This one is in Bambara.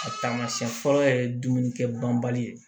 A taamasiyɛn fɔlɔ ye dumuni kɛ banbali ye